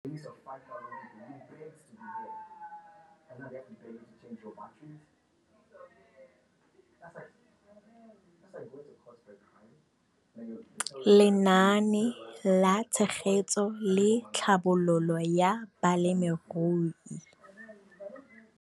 Lenaane la Tshegetso le Tlhabololo ya Balemirui.